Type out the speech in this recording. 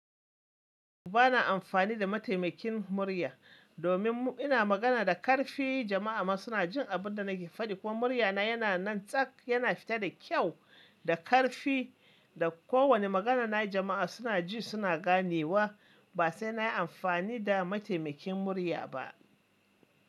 Ba na amfani da mataimakin murya domin ina magana da ƙarfi. Jama'a ma suna jin abin da nake faɗi kuma muryana yana nan tsaf. Yana fita da kyau, da ƙarfi da kowane maganana jama'a suna ji suna ganewa. Ba sai na yi amfani da mataimakin murya ba.